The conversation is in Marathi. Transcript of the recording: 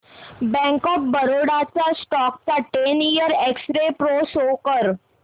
बँक ऑफ बरोडा च्या स्टॉक चा ten year x-ray pro show कर